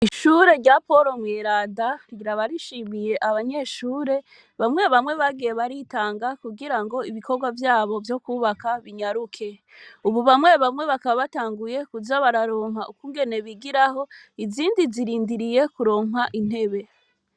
Ishure rya poro mweranda rikaba rishimiye abanyeshure bamwe bamwe bagiye baritanga kugira ngo ibikogwa vyabo vyo kwubaka binyaruke ubu bamwe bamwe bakaba batanguye kuza bararonka ukungene bigiraho izindi zirindiriye kuronka intebe.